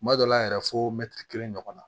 Kuma dɔw la yɛrɛ fo kelen ɲɔgɔn na